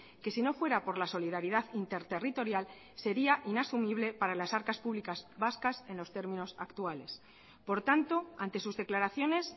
que si no fuera por la solidaridad interterritorial sería inasumible para las arcas públicas vascas en los términos actuales por tanto ante sus declaraciones